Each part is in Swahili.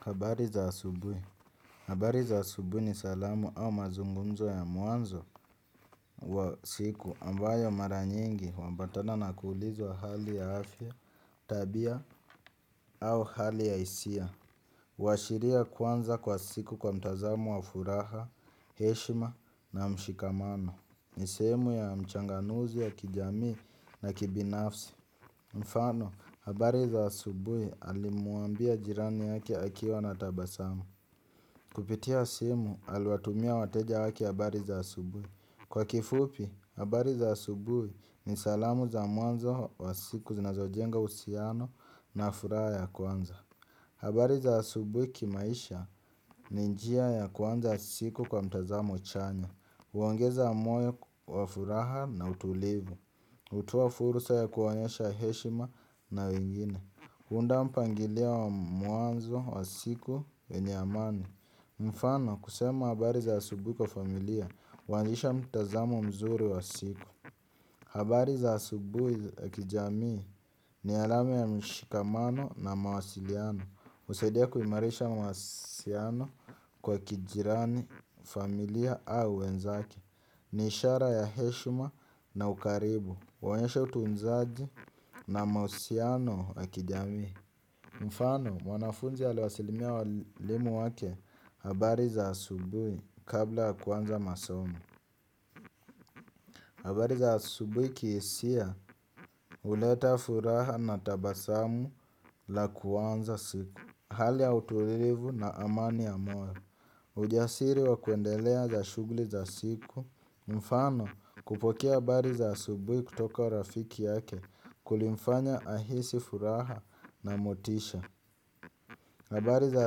Habari za asubui. Habari za asubui ni salamu au mazungumzo ya mwanzo wa siku ambayo mara nyingi huambatana na kuulizwa hali ya afya, tabia au hali ya isia. Uashiria kwanza kwa siku kwa mtazamo wa furaha, heshima na mshikamano. Niseemu ya mchanganuzi ya kijamii na kibinafsi. Mfano, habari za asubui alimuambia jirani yake akiwa na tabasamu. Kupitia simu alwatumia wateja wake habari za asubuhi. Kwa kifupi, habari za asubuhi ni salamu za mwanzo wa siku zinazojenga usiano na furaha ya kwanza. Habari za asubuhi kimaisha ni njia ya kuanza siku kwa mtazamo chanya. Uongeza moyo wa furaha na utulivu. Utoa fursa ya kuwanyesha heshima na wengine. Hunda mpangilia wa muanzo wa siku wenye amani. Mfano kusema habari za asubui kwa familia wanzisha mtazamo mzuri wa siku. Habari za asubui akijamii ni alame ya mshikamano na mawasiliano. Usaidia kuimarisha mawasiliano kwa kijirani familia au wenzake. Niishara ya heshma na ukaribu. Waonyesha utunzaji na mawasiliano ya kijamii. Mfano, mwanafunzi aliwasalimia walimu wake habari za asubui kabla kuanza masomo. Habari za asubui kiisia uleta furaha na tabasamu la kuanza siku. Hali ya utulivu na amani ya moyo. Ujasiri wa kwendelea za shugli za siku. Mfano, kupokea habari za asubui kutoka rafiki yake kulimfanya ahisi furaha na motisha. Habari za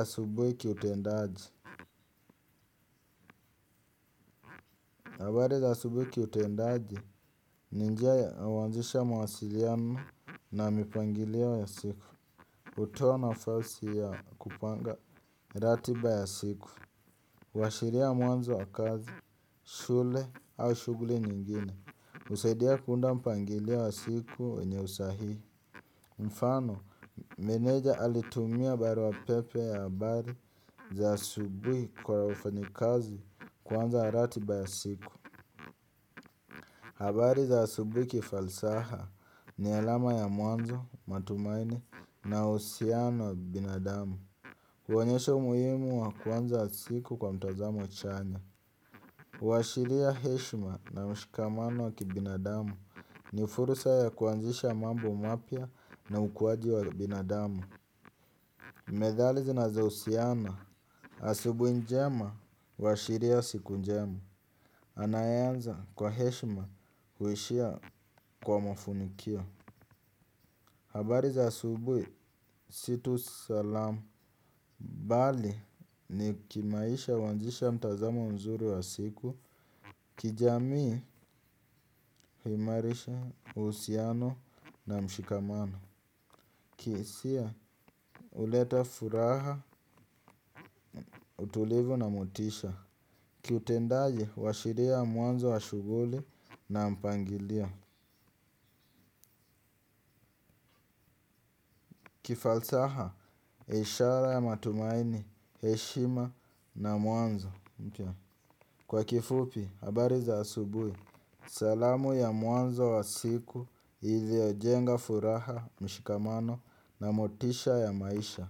asubuhi kiutendaji. Habari za subuhi kiutendaji ni njia ya wanzisha mawasiliano na mipangilio ya siku. Utoa nafasi ya kupanga ratiba ya siku. Uashiria mwanzo wa kazi, shule au shuguli nyingine. Usaidia kuunda mpangilio ya siku wenye usahii. Mfano, meneja alitumia barua pepe ya habari za asubuhi kwa wafanyikazi kuanza ratiba ya siku. Habari za asubuhi kifalsaha ni alama ya mwanzo, matumaini na uusiano ya binadamu. Huonyesha umuhimu wa kuanza siku kwa mtazamo chanya. Washiria heshma na mshikamano wa kibinadamu ni fursa ya kuanzisha mambo mapya na ukuaji wa binadamu. Methali zinaza usiana. Asubui njema huashiria siku njema. Anayeanza kwa heshima huishia kwa mafunukio. Habari za asubui situ salamu. Bali ni kimaisha uanzisha mtazamo mzuri wa siku. Kijamii himarisha uusiano na mshikamano. Kiisia uleta furaha utulivu na motisha. Kiutendaji washiria mwanzo wa shuguli na mpangilio. Kifalsaha eshara ya matumaini, heshima na mwanzo mpya. Kwa kifupi, habari za asubui salamu ya mwanzo wa siku iliojenga furaha mshikamano na motisha ya maisha.